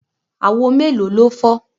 Àwo mélòó ló fọ́?